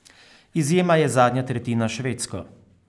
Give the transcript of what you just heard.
Izjema je zadnja tretjina s Švedsko.